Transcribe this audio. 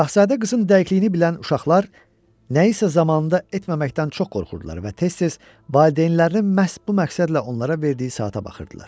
Şahzadə qızın dəqiqliyini bilən uşaqlar nəyisə zamanında etməməkdən çox qorxurdular və tez-tez valideynlərinin məhz bu məqsədlə onlara verdiyi saata baxırdılar.